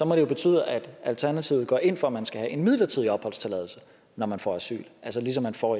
må det jo betyde at alternativet går ind for at man skal have en midlertidig opholdstilladelse når man får asyl altså ligesom man får